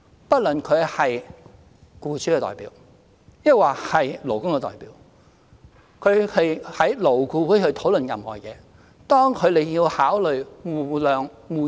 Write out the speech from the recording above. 不論他們是僱主的代表還是勞工的代表，當他們在勞顧會討論任何事情時，都要考慮互諒互讓。